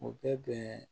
U bɛ bɛn